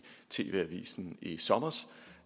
tv avisen i sommer